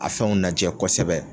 A fɛnw najɛ kɔsɛbɛ